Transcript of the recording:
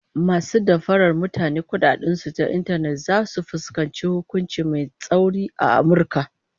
Masu damfarar mutane kudaden su ta intanet zasu fuskanci hukunci mai tsauri a Amurka